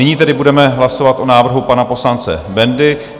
Nyní tedy budeme hlasovat o návrhu pana poslance Bendy.